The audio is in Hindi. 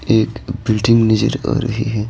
एक बिल्डिंग नजर आ रही है।